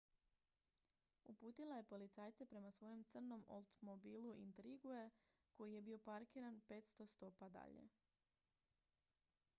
uputila je policajce prema svojem crnom oldsmobilu intrigue koji je bio parkiran 500 stopa dalje